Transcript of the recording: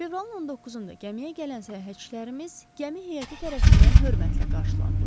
Fevralın 19-da gəmiyə gələn səyahətçilərimiz gəmi heyəti tərəfindən hörmətlə qarşılandılar.